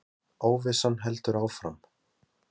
Þórhildur: Óvissan heldur áfram?